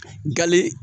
Gali